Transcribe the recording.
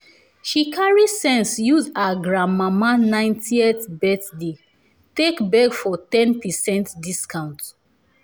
she carry sense use her granmama ninteth birthday take beg for ten percent discount